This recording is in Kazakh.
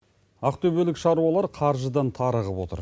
ақтөбелік шаруалар қаржыдан тарығып отыр